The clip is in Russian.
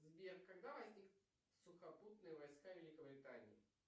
сбер когда возник сухопутные войска великобритании